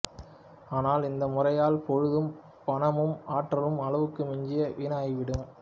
ஆனால் இந்த முறையால் பொழுதும் பணமும் ஆற்றலும் அளவுக்கு மிஞ்சி வீணாய்விடும்